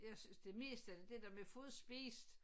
Jeg synes det mest er det dér med at få det spist